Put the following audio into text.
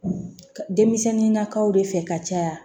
Denmisɛnninnakaw de fɛ ka caya